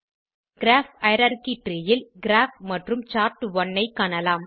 graph hierarchy tree ல் graph மற்றும் chart one ஐ காணலாம்